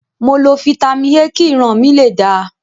Mo lo Fitami A kí ìran mi lè dáa.